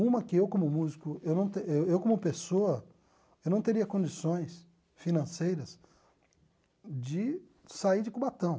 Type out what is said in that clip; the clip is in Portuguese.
Uma, que eu como músico, eu não te eu eu como pessoa, eu não teria condições financeiras de sair de Cubatão.